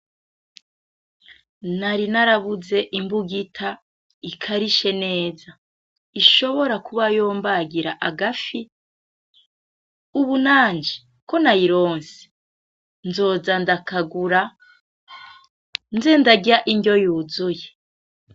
Nari narabuze imbugita ikarishe neza ishobora kuba yombagira agafi ubunanje konayironse nzoza ndakagura nze ndarya iryo yuzuye.